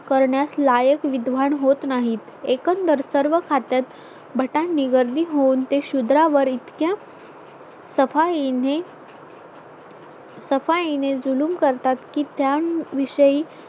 करण्यास लायक विद्वान होत नाही एकंदर सर्व खात्यात भटांनी गर्दी होऊन ते शुद्रांवर इतक्या सफाईने सफाई ने जुलूम करतात की त्याविषयी